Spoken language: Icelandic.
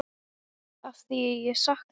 Afþvíað ég sakna.